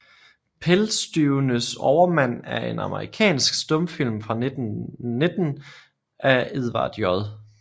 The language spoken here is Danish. Pelstyvenes Overmand er en amerikansk stumfilm fra 1919 af Edward J